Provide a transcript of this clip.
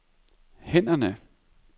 hænderne